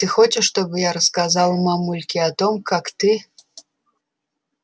ты хочешь чтобы я рассказала мамульке о том как ты